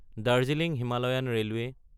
Darjeeling Himalayan railway